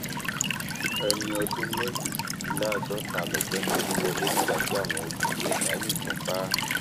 ẹni ọdún méjìdínláàádọta lọgbẹni olúwọlé nígbà tí àwọn olubi ẹdá yìnbọn pa á